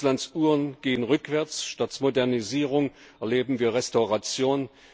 Russlands Uhren gehen rückwärts, statt Modernisierung erleben wir Restauration.